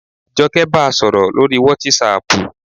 Jọkẹ́ ba sọ̀rọ̀ lórii wátísapù